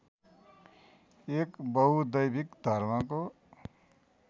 एक बहुदैविक धर्मको